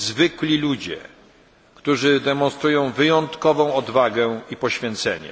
zwykli ludzie, którzy demonstrują wyjątkową odwagę i poświęcenie.